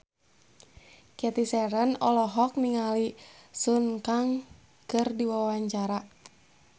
Cathy Sharon olohok ningali Sun Kang keur diwawancara